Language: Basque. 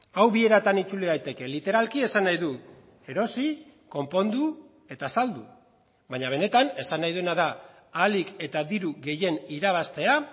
hau bi eratan itzuli daiteke literalki esan nahi du erosi konpondu eta saldu baina benetan esan nahi duena da ahalik eta diru gehien irabaztea